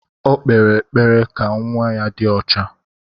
O kpere ekpere ka nwa ya dị ọcha.